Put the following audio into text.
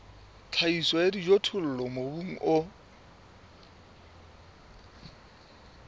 tlhahiso ya dijothollo mobung o